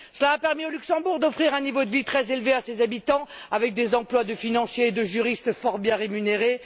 Cela a permis au Luxembourg d'offrir un niveau de vie très élevé à ses habitants avec des emplois de financiers et de juristes fort bien rémunérés.